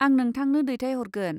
आं नोंथांनो दैथायहरगोन।